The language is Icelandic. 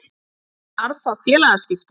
Fær Ben Arfa félagaskipti?